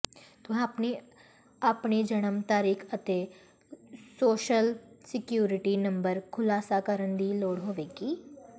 ਤੁਹਾਨੂੰ ਆਪਣੀ ਜਨਮ ਤਾਰੀਖ ਅਤੇ ਸੋਸ਼ਲ ਸਿਕਿਉਰਿਟੀ ਨੰਬਰ ਖੁਲਾਸਾ ਕਰਨ ਦੀ ਲੋੜ ਹੋਵੇਗੀ